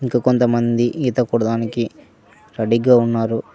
ఇంక కొంతమంది ఈతకూడదానికి రెడీగా ఉన్నారు.